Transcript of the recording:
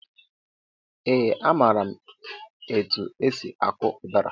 Ee a maara m etụ esị akọ udara